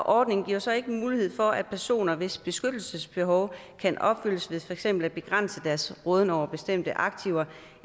ordningen giver så ikke mulighed for at personer hvis beskyttelsesbehov kan opfyldes ved for eksempel at begrænse deres råden over bestemte aktiver